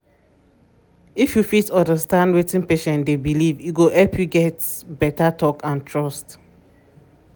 if you fit understand wetin patient dey believe e go help you get get beta talk and trust.